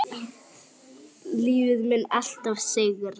Lífið mun alltaf sigra.